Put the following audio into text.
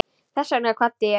Þess vegna kvaddi hann.